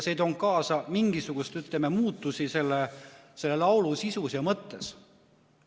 See ei toonud kaasa mingisuguseid muutusi selle laulu sisus ja mõttes.